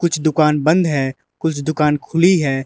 दुकान बंद है कुछ दुकान खुली है।